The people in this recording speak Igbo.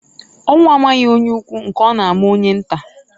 Ọnwụ amaghi onye ukwu nke ọ na-ama onye nta.